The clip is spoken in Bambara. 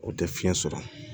O tɛ fiɲɛ sɔrɔ